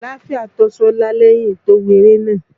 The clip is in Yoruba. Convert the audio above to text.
Àlááfíà tó Ṣọlá lẹ́yìn to wò eré náà.